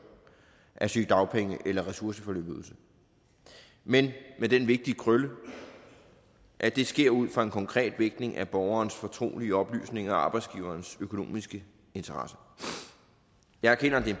af sygedagpenge eller ressourceforløbsydelse men med den vigtige krølle at det sker ud fra en konkret vægtning af borgerens fortrolige oplysninger og arbejdsgiverens økonomiske interesser jeg erkender at det er